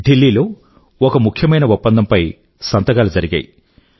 ఢిల్లీ లో ఒక ముఖ్యమైన ఒప్పందం పై సంతకాలు జరిగాయి